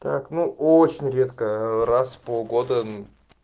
так ну очень редко ээ раз в полгода мм